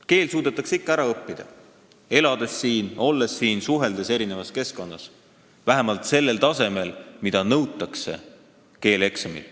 Keel suudetakse ikka ära õppida, kui siin elatakse, ollakse, eri keskkondades suheldakse – vähemalt sellel tasemel, mida nõutakse keeleeksamil.